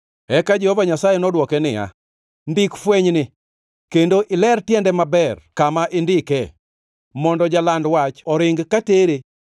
Eka Jehova Nyasaye nodwoke niya, “Ndik fwenyni kendo iler tiende maber kama indike, mondo jaland wach oring katere.